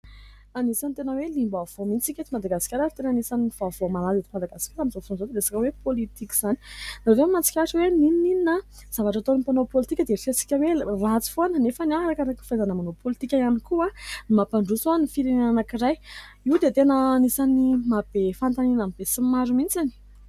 Anisan'ny tena hoe liam-baovao mihitsy isika eto Madagasikara, ary tena anisan'ny vaovao malaza eto Madagaskara min'nizao fotoana izao dia ny resaka hoe politika izany. Izaho izao mahatsikaritra hoe ninon'inona zavatra ataon'ny mpanao politika dia heritreretin-tsika ho ratsy foana nefa araky ny fahaizana manao politika ihany koa no mampandroso ny firenena anankiray. Io dia tena anisan'ny mahabe fanontaniana ny be sy ny maro mihitsy.